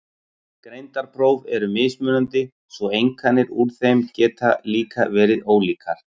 Greindarpróf eru mismunandi svo einkunnir úr þeim geta líka verið ólíkar.